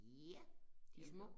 Ja de små